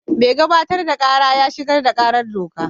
Mai gabatar da kara ya shigar da karar doka.